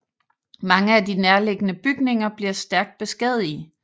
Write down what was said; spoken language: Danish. Mange af de nærliggende bygninger bliver stærkt beskadigede